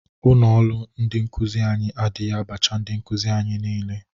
Ọnụ ụlọ ndị nkụzị anyị adaghi abatacha ndị nkụzị anyị niile.